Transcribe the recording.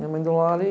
Minha mãe do lar e...